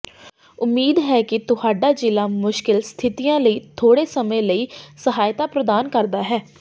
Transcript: ਉਮੀਦ ਹੈ ਕਿ ਤੁਹਾਡਾ ਜਿਲ੍ਹਾ ਮੁਸ਼ਕਲ ਸਥਿਤੀਆਂ ਲਈ ਥੋੜ੍ਹੇ ਸਮੇਂ ਲਈ ਸਹਾਇਤਾ ਪ੍ਰਦਾਨ ਕਰਦਾ ਹੈ